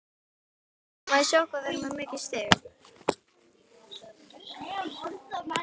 Allir vissu hvað það þýddi.